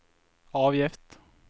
avgift